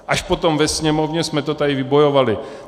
Až potom ve Sněmovně jsme to tady vybojovali.